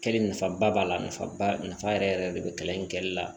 Kɛli nafaba b'a la nafaba nafa yɛrɛ yɛrɛ de bɛ kalan in kɛlɛli la